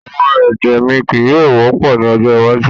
Awọn èdè mi kíí yọ̀ọ̀ wọ́pọ̀ ni ọjọ́ iwájú